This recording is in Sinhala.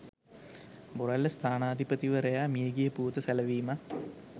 බොරැල්ල ස්ථානාධිපතිවරයා මිය ගිය පුවත සැලවීමත්